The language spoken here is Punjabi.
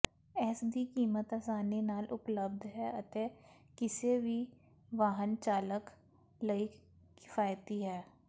ਇਸ ਦੀ ਕੀਮਤ ਆਸਾਨੀ ਨਾਲ ਉਪਲੱਬਧ ਹੈ ਅਤੇ ਕਿਸੇ ਵੀ ਵਾਹਨ ਚਾਲਕ ਲਈ ਕਿਫਾਇਤੀ ਹੈ